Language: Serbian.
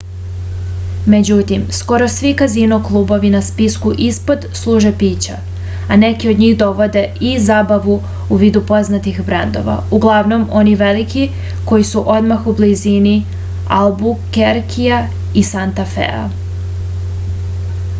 међутим скоро сви казино клубови на списку испод служе пића а неки од њих доводе и забаву у виду познатих брендова углавном они велики који су одмах у близини албукеркија и санта феа